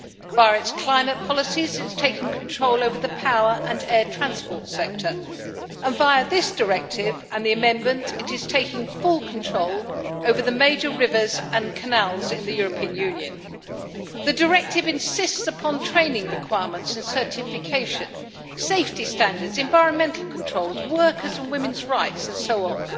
Via its climate policies it has taken control over the power and air transport sector, and via this directive and the amendment it is taking full control over the major rivers and canals in the European Union. The directive insists upon training requirements and certification, safety standards, environmental controls, workers' and women's rights, and so on.